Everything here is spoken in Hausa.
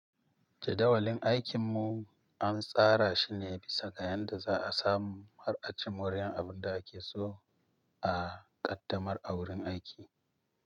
Jadawalin aikin mu an tsara shine bisaga yanda za'a samu har aci moriyar abinda akeso a ƙaddamar a wurin aiki.